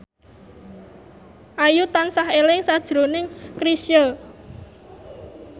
Ayu tansah eling sakjroning Chrisye